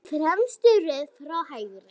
Í fremstu röð frá hægri